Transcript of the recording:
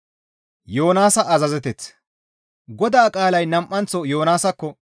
GODAA qaalay nam7anththo Yoonaasakko,